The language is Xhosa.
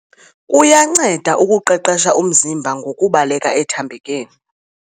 Kuyanceda ukuqeqesha umziba ngokubaleka ethambekeni.